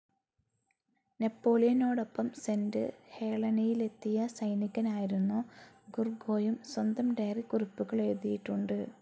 നെപ്പോളിയനോടൊപ്പം saint ഹേളനയിലെത്തിയ സൈനികനായിരുന്നു ഗുർഗോയും സ്വന്തം ഡയറിക്കുറിപ്പുകളെഴുതീട്ടുണ്ട്.